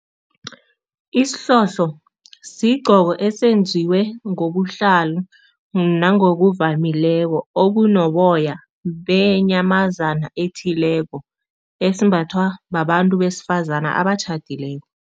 Isihlohlo sigqoko esenziwe ngobuhlalu nangokuvamileko okunoboya benyamazana ethileko, esimbathwa babantu besifazana abatjhadileko.